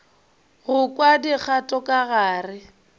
go kwa dikgato ka gare